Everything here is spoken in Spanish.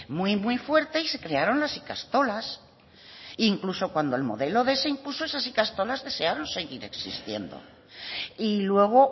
muy fuerte y se crearon las ikastolas e incluso cuando el modelo quinientos se impuso esas ikastolas desearon seguir existiendo y luego